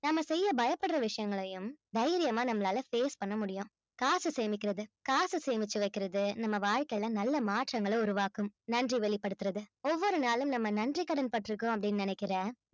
நாம செய்ய பயப்படுற விஷயங்களையும் தைரியமா நம்மளால face பண்ண முடியும் காசு சேமிக்கிறது காசு சேமிச்சு வைக்கிறது நம்ம வாழ்க்கையில நல்ல மாற்றங்களை உருவாக்கும் நன்றி வெளிப்படுத்துறது ஒவ்வொரு நாளும் நம்ம நன்றி கடன் பட்டிருக்கோம் அப்படீன்னு நினைக்கிற